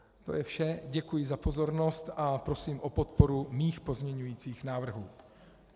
To je vše, děkuji za pozornost a prosím o podporu mých pozměňujících návrhů.